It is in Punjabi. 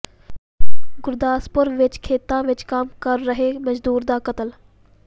ਗੁਰਦਾਸਪੁਰ ਵਿਚ ਖੇਤਾਂ ਵਿਚ ਕੰਮ ਕਰ ਰਹੇ ਮਜ਼ਦੂਰ ਦਾ ਕਤਲ